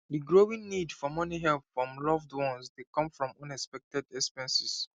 di growing need for money help from loved ones dey come from unexpected expenses